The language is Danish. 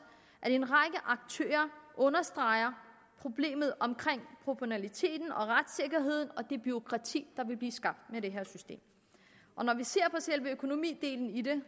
at en række aktører understreger problemet omkring proportionaliteten og retssikkerheden og det bureaukrati der vil blive skabt med det her system når vi ser på selve økonomidelen i det